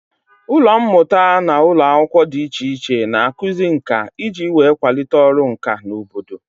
Ụlọ mmụta na ụlọ akwụkwọ dị iche iche n'akuzi ǹkà iji wee kwalite ọrụ ǹkà n'obodo